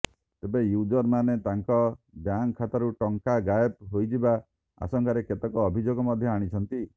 ତେବେ ୟୁଜରମାନେ ତାଙ୍କ ବ୍ୟାଙ୍କ ଖାତାରୁ ଟଙ୍କା ଗାଏବ ହୋଇଯିବା ଆଶଙ୍କାରେ କେତେକ ଅଭିଯୋଗ ମଧ୍ୟ ଆଣିଛନ୍ତି